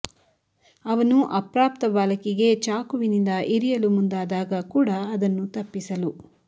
ಅವನು ಅಪ್ರಾಪ್ತ ಬಾಲಕಿಗೆ ಚಾಕುವಿನಿಂದ ಇರಿಯಲು ಮುಂದಾದಾಗ ಕೂಡ ಅದನ್ನು ತಪ್ಪಿಸಲು